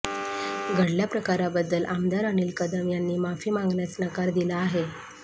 घडल्या प्रकाराबद्दल आमदार अनिल कदम यांनी माफी मागण्यास नकार दिला आहे